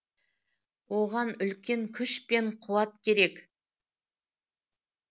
оған үлкен куш пен қуат керек